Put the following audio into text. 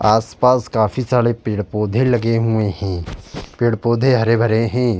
आस-पास काफी सारे पेड़ पौधे लगे हुए हैं। पेड़ पौधे हरे भरे हैं।